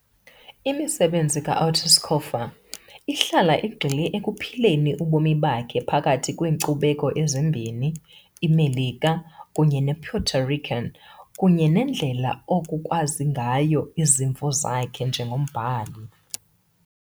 Imisebenzi ka-Ortiz Cofer ihlala igxile ekuphileni ubomi bakhe phakathi kweenkcubeko ezimbini, iMelika kunye nePuerto Rican, kunye nendlela oku kwazisa ngayo izimvo zakhe njengombhali.